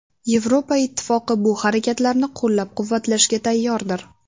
Yevropa Ittifoqi bu harakatlarni qo‘llab-quvvatlashga tayyordir.